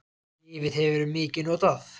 Lyfið hefur verið mikið notað.